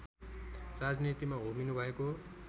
राजनीतिमा होमिनु भएको